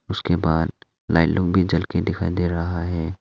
उसके बाद लाइन में जल कर दिखाई दे रहा है।